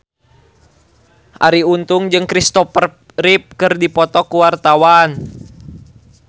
Arie Untung jeung Kristopher Reeve keur dipoto ku wartawan